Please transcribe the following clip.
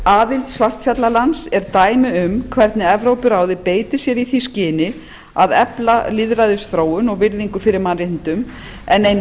aðild svartfjallalands er dæmi um hvernig evrópuráðið beitir sér í því skyni að efla lýðræðisþróun og virðingu fyrir mannréttindum en ein